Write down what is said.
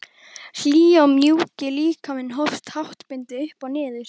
Hlýi og mjúki líkaminn hófst háttbundið upp og niður.